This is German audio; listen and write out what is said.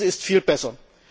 Das ist viel besser.